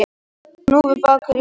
Hnúfubakur í vanda